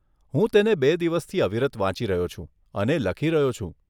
હું તેને બે દિવસથી અવિરત વાંચી રહ્યો છું અને લખી રહ્યો છું.